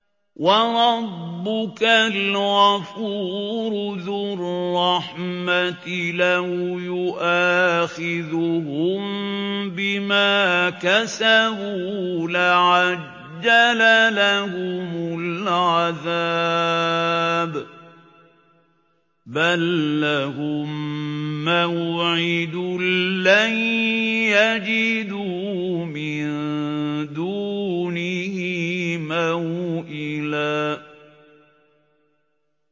وَرَبُّكَ الْغَفُورُ ذُو الرَّحْمَةِ ۖ لَوْ يُؤَاخِذُهُم بِمَا كَسَبُوا لَعَجَّلَ لَهُمُ الْعَذَابَ ۚ بَل لَّهُم مَّوْعِدٌ لَّن يَجِدُوا مِن دُونِهِ مَوْئِلًا